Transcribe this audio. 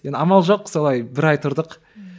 енді амал жоқ солай бір ай тұрдық ммм